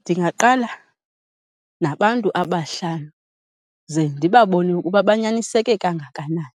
Ndingaqala nabantu abahlanu ze ndibabone ukuba banyaniseke kangakanani